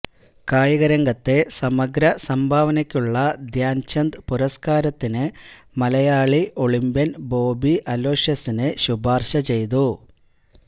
കായികരംഗത്തെ സമഗ്രസംഭാവനയ്ക്കുള്ള ധ്യാൻചന്ദ് പുരസ്കാരത്തിന് മലയാളി ഒളിംപ്യൻ ബോബി അലോഷ്യസിനെ ശുപാർശ ചെയ്തു